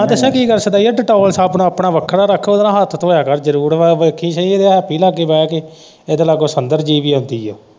ਮੈਂ ਦੱਸਾ ਕੀ ਕਰ ਸਦਾਈਆ ਡੇਟੋਲ ਸਾਬਣ ਆਪਣਾ ਵੱਖਰਾ ਰੱਖ, ਓਦੇ ਨਾਲ ਹੱਥ ਧੋਇਆ ਕਰ ਜਰੂਰ, ਮੈਂ ਵੇਖੀ ਸਹੀ ਹੈਪੀ ਲਾਗੇ ਬਹਿ ਕੇ ਓਦੇ ਲਾਗੇ ਸੰਦਰ ਜਿਹੀ ਵੀ ਆਉਂਦੀ ਆ।